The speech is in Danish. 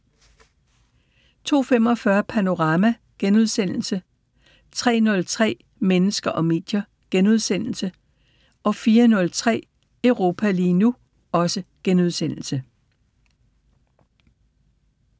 02:45: Panorama * 03:03: Mennesker og medier * 04:03: Europa lige nu *